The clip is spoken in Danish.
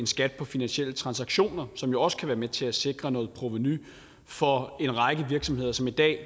skat på finansielle transaktioner som jo også kan være med til at sikre noget provenu fra en række virksomheder som i dag i